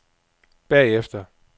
bagefter